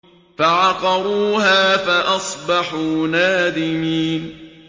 فَعَقَرُوهَا فَأَصْبَحُوا نَادِمِينَ